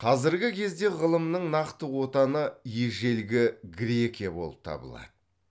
қазіргі кезде ғылымның нақты отаны ежелгі грекия болып табылады